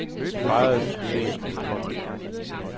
De fejrede succesen med en kold øl.